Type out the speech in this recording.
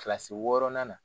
Kilasi wɔɔrɔnan na